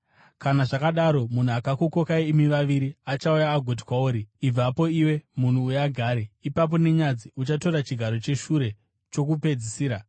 Kana zvakadaro, munhu akakukokai imi vaviri achauya agoti kwauri, ‘Ibva ipapo iwe, munhu uyu agare.’ Ipapo, nenyadzi, uchatora chigaro cheshure chokupedzisira.